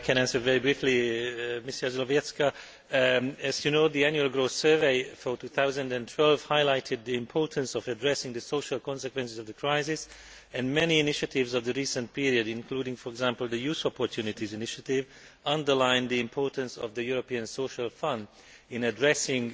I can answer very briefly. As you know, the annual growth survey for 2012 highlighted the importance of addressing the social consequences of the crisis, and many recent initiatives, including for example the Youth Opportunities Initiative, underline the importance of the European Social Fund in addressing